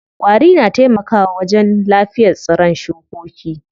Ƙwari na taimaka wa wajen lafiyar tsiron shukoki.